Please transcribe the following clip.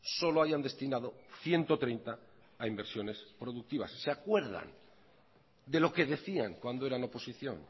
solo hayan destinado ciento treinta a inversiones productivas se acuerdan de lo que decían cuando eran oposición